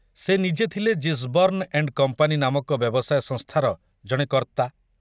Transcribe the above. ସେ ନିଜେ ଥିଲେ ଜିସବର୍ଣ୍ଣ ଏଣ୍ଡ କମ୍ପାନୀ ନାମକ ବ୍ୟବସାୟ ସଂସ୍ଥାର ଜଣେ କର୍ତ୍ତା।